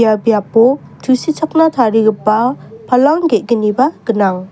ua biapo tusichakna tarigipa palang ge·gniba gnang.